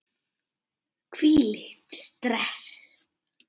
Hvílíkt stress!